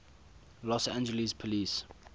los angeles police